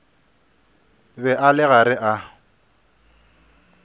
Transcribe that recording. be a le gare a